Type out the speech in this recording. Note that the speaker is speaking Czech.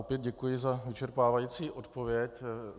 Opět děkuji za vyčerpávající odpověď.